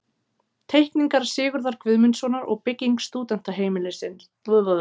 Teikningar Sigurðar Guðmundssonar og bygging stúdentaheimilis